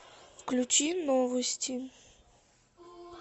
включи новости